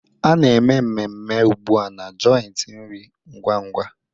Ana-eme mmeme ugbu a na joiti nri ngwa-ngwa.